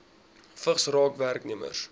vigs raak werknemers